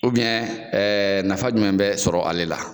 ɛɛ nafa jumɛn bɛ sɔrɔ ale la